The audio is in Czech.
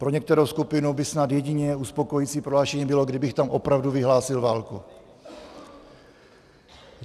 Pro některou skupinu by snad jediné uspokojující prohlášení bylo, kdybych tam opravdu vyhlásil válku.